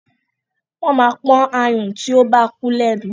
Wọ́n máa ń pọ́n ayùn tí o bá kú lẹ́nu.